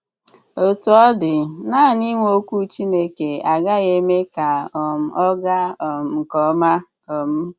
Òtù ọ dị, nanị ìnwè Òkwù Chìnékè agaghị̀ èmé ka um ọ gàà um nke òma. um